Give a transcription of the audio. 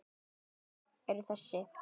Lónin eru þessi